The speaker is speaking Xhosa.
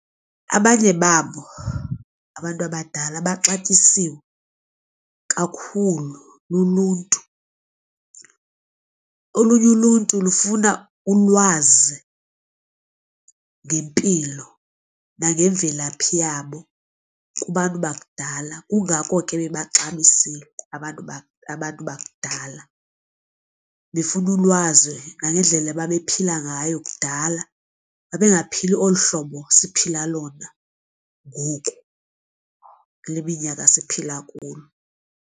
Abanye babo abantu abadala baxatyisiwe kakhulu luluntu. Olunye uluntu lufuna ulwazi ngempilo nangemvelaphi yabo kubantu bakudala kungako ke bebaxabisekile abantu abantu bakudala. Bafuna ulwazi nangendlela ababephila ngayo kudala, babengaphili olu hlobo siphila lona ngoku kule minyaka siphila kulo.